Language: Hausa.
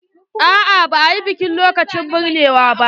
A'a ba a yi biki lokacin binnewa ba.